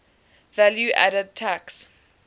value added tax